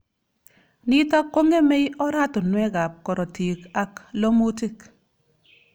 Nitok kongemei oratunwek ab karotik ak lomutik.